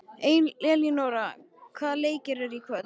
Elínora, hvaða leikir eru í kvöld?